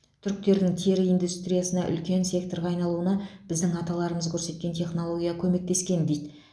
түріктердің тері индустриясында үлкен секторға айналуына біздің аталарымыз көрсеткен технология көмектескен дейді